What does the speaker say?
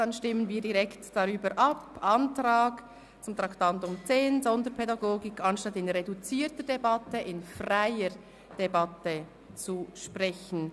Wir stimmen direkt über den Antrag ab, über Traktandum 10 eine freie statt einer reduzierten Debatte zu führen.